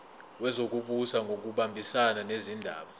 wezokubusa ngokubambisana nezindaba